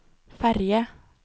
ferge